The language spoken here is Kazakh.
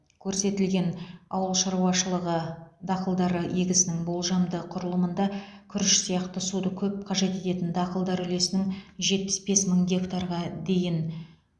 көрсетілген ауыл шаруашылығы дақылдары егісінің болжамды құрылымында күріш сияқты суды көп қажет ететін дақылдар үлесінің жетпіс бес мың гектарға дейін